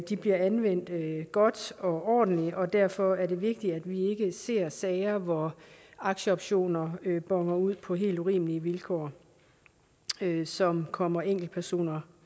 de bliver anvendt godt og ordentligt og derfor er det vigtigt at vi ikke ser sager hvor aktieoptioner boner ud på helt urimelige vilkår som kommer enkeltpersoner